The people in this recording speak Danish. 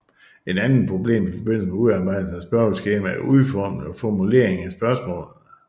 Et andet problem i forbindelse med udarbejdelse af spørgeskemaer er udformning og formulering af spørgsmålene